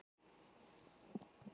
Ungi maðurinn hlustar.